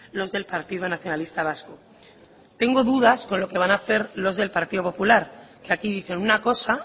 los del partido nacionalista vasco tengo dudas con lo que van a hacer los del partido popular que aquí dicen una cosa